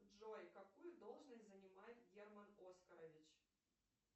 джой какую должность занимает герман оскарович